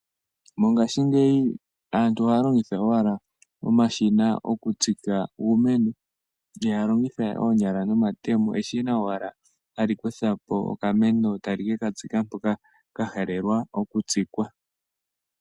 Mongashingeyi aantu ohaya longitha owala omashina okutsika uumeno, ihaya longitha we oonyala nomatemo, eshina owala ha li kutha po okameno ta li ke ka tsika mpoka ka halelwa okutsikwa.